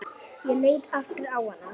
Ég leit aftur á hana.